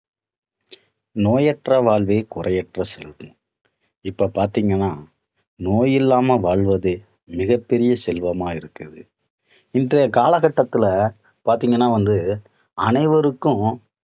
நோயற்ற வாழ்வே குறைவற்ற செல்வம். இப்போ பாத்தீங்கன்னா நோய் இல்லாமல் வாழ்வதே மிகப் பெரிய செல்வமா இருக்குது. இன்றைய காலகட்டத்தில பாத்தீங்கன்னா வந்து அனைவருக்கும்